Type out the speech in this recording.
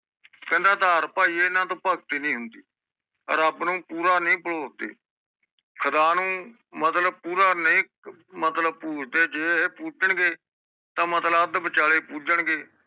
ਕਹਿੰਦਾ ਅਧਾਰ ਪਾਈ ਇਹਨਾਂ ਤੋਹ ਭਗਤੀ ਨਹੀਂ ਹੁੰਦੀ ਰੱਬ ਨੂੰ ਪੋਰ ਨਹੀਂ ਪਲੋਤੀ ਖੁਦਾ ਨੂੰ ਮਤਲਬ ਪੁਰਾ ਨਹੀਂ ਮਤਲਬ ਜੇ ਪੁਰਾ ਪੂਜਣ ਗੇ ਤਾ ਮਤਲਬ ਅੱਧ ਵਿਚਾਲੇ ਪੂਜਣ ਗੇ